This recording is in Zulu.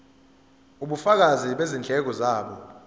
ubufakazi bezindleko zabo